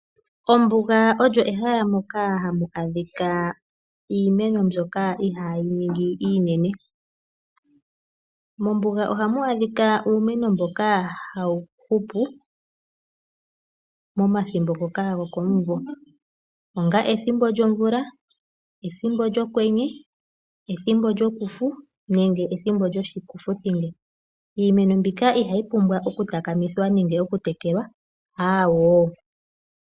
Ombuga olyo ehala moka hamu adhika iimeno mbyoka ihaayi ningi iinene. Mombuga ohamu adhika uumeno mboka hawu hupu momathimbo ngoka gokomumvo onga ethimbo lyomvula, ethimbo lyokwenye, ethimbo lyokufu nenge ethimbo lyoshikufuthinge. Iimeno mbika ihayi pumbwa okutakamithwa nenge okutekelwa, aawoo.